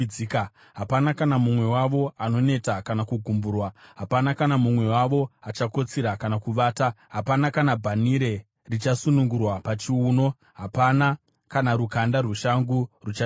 Hapana kana mumwe wavo anoneta kana kugumburwa, hapana kana mumwe wavo achakotsira kana kuvata; hapana kana bhanhire richasunungurwa pachiuno, hapana kana rukanda rweshangu ruchadambuka.